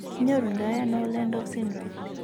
Kinyoru ndo ano Ollendorff syndrome